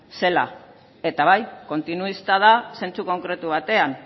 zela eta bai kontinuista da zentzu konkretu batean